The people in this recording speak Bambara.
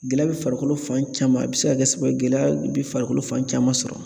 Gɛlɛya bɛ farikolo fan caman, a bɛ se ka kɛ sababu ye gɛlɛya bɛ farikolo fan caman sɔrɔ